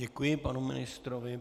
Děkuji panu ministrovi.